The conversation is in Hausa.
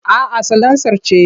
A'a salansar ce.